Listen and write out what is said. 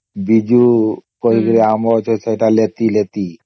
ବିଜୁ କରକେ ଆମ ଗଛ ଅଛେ ସେଟା ଳେଟି ଳେଟି